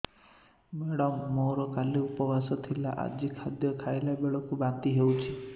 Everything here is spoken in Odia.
ମେଡ଼ାମ ମୋର କାଲି ଉପବାସ ଥିଲା ଆଜି ଖାଦ୍ୟ ଖାଇଲା ବେଳକୁ ବାନ୍ତି ହେଊଛି